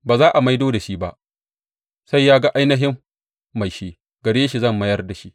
Ba za a maido da shi ba sai ya ga ainihin mai shi; gare shi zan bayar da shi.’